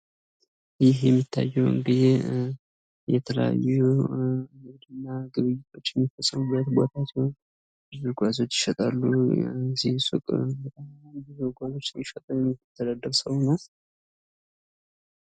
ይህ የምታዩት የተለያየ ንግድ እና ግብይቶችን ጉአዝ የያዘ ሲሆን ዕቃ ይሸጣል እና በመሸጥ የሚተዳደር ሰው ነው፡፡